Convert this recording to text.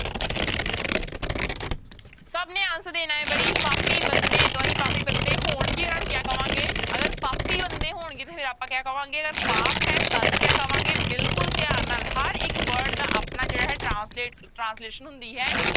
ਸਭ ਨੇ answer ਦੇਣਾ ਹੈ ਪਾਪੀ ਬੰਦੇ ਪਾਪੀ ਬੰਦੇ ਹੋਣਗੇ ਉਹਨਾਂ ਨੂੰ ਕਿਆ ਕਵਾਂਗੇ, ਅਗਰ ਪਾਪੀ ਬੰਦੇ ਹੋਣਗੇ ਤਾਂ ਫਿਰ ਕਿਆ ਕਵਾਂਗੇ ਪਾਪ ਹੈ ਤਦ ਕਿਆ ਕਵਾਂਗੇ ਬਿਲਕੁਲ ਧਿਆਨ ਨਾਲ ਹਰ ਇੱਕ word ਦਾ ਆਪਣਾ ਜਿਹੜਾ ਹੈ translate translation ਹੁੰਦੀ ਹੈ।